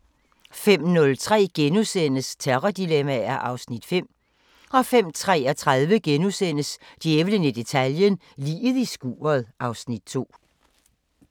05:03: Terrordilemmaer (Afs. 5)* 05:33: Djævlen i detaljen – Liget i skuret (Afs. 2)*